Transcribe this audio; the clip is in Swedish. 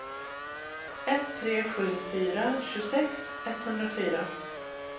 ett tre sju fyra tjugosex etthundrafyra